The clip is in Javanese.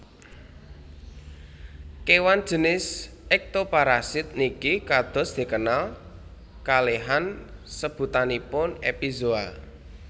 Kewan jinis Ektoparasit niki kados dikenal kalehan sebutanipun epizoa